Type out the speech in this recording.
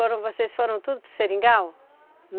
vocês foram tudo para o Seringal?